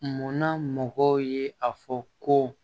Munna mɔgɔw ye a fɔ ko